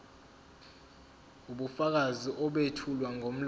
ubufakazi obethulwa ngomlomo